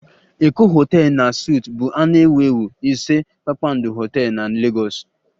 Eko hotel na suites bụ a na-ewu ewu ise kpakpando hotel na Lagos